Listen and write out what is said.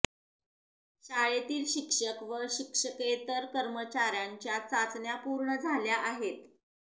शाळेतील शिक्षक व शिक्षकेतर कर्मचाऱ्यांच्या चाचण्या पूर्ण झाल्या आहेत